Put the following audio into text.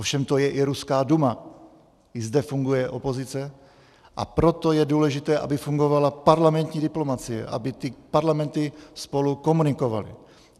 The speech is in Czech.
Ovšem to je i ruská Duma, i zde funguje opozice, a proto je důležité, aby fungovala parlamentní diplomacie, aby ty parlamenty spolu komunikovaly.